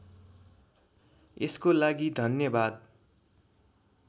यसको लागि धन्यवाद